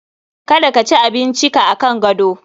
Kada ka ci abinci ka akan gado